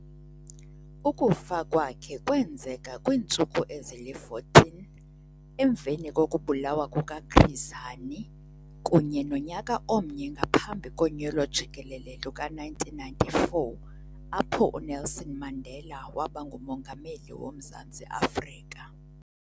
Ukufa kwakhe kwenzeka kwiintsuku ezili-14 emveni kokubulawa kukaChris Hani kunye nonyaka omnye ngaphambi konyulo jikelele luka-1994 apho uNelson Mandela waba nguMongameli woMzantsi Afrika.